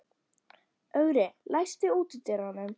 Ögri, læstu útidyrunum.